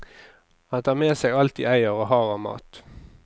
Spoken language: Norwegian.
Han tar med seg alt de eier og har av mat.